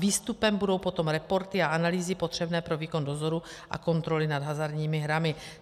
Výstupem budou potom reporty a analýzy potřebné pro výkon dozoru a kontroly nad hazardními hrami.